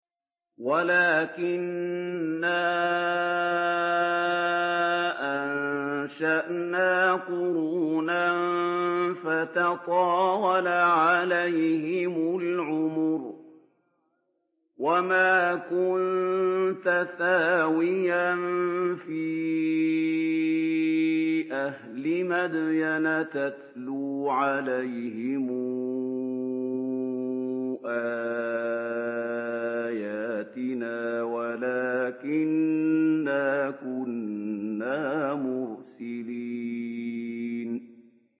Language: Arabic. وَلَٰكِنَّا أَنشَأْنَا قُرُونًا فَتَطَاوَلَ عَلَيْهِمُ الْعُمُرُ ۚ وَمَا كُنتَ ثَاوِيًا فِي أَهْلِ مَدْيَنَ تَتْلُو عَلَيْهِمْ آيَاتِنَا وَلَٰكِنَّا كُنَّا مُرْسِلِينَ